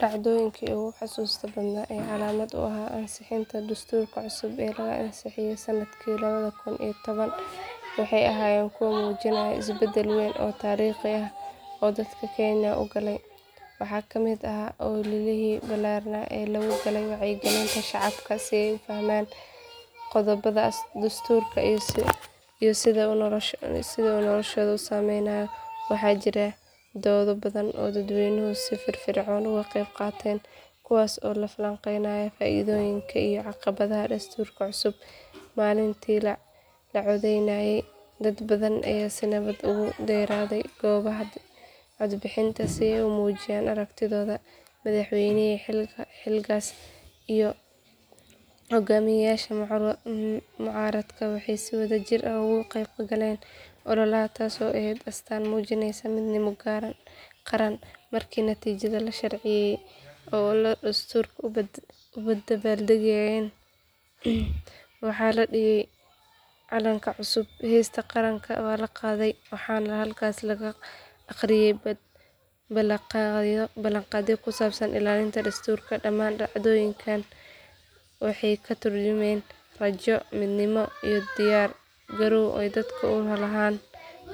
Dhacdooyinkii ugu xusuusta badnaa ee calaamad u ahaa ansixinta dastuurka cusub ee lagu ansixiyay sanadkii laba kun iyo toban waxay ahaayeen kuwo muujinayay isbedel weyn oo taariikhi ah oo dalka kenya uu galay. Waxaa ka mid ahaa ololihii ballaarnaa ee loo galay wacyigelinta shacabka si ay u fahmaan qodobada dastuurka iyo sida uu noloshooda u saameynayo. Waxaa jiray dooddo badan oo dadweynuhu si firfircoon uga qayb qaateen kuwaas oo lagu falanqeynayay faa’iidooyinka iyo caqabadaha dastuurka cusub. Maalintii la codeynayay dad badan ayaa si nabad ah ugu dareeray goobaha codbixinta si ay u muujiyaan aragtidooda. Madaxweynihii xiligaas iyo hogaamiyaasha mucaaradka waxay si wadajir ah uga qayb galeen ololaha taasoo ahayd astaan muujineysa midnimo qaran. Markii natiijada la shaaciyay oo uu dastuurku ansaxay waxaa magaalada nairobi lagu qabtay xaflad weyn oo dadka kumanaan ah ay isugu yimaadeen si ay u dabaaldegaan. Waxaa la dhigay calanka cusub, heesta qaranka waa la qaaday, waxaana halkaas laga akhriyay ballanqaadyo ku saabsan ilaalinta dastuurka. Dhammaan dhacdooyinkaas waxay ka turjumayeen rajo, midnimo iyo diyaar garow uu dalku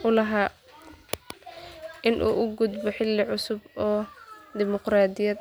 u lahaa in uu u gudbo xilli cusub oo dimuqraadi ah.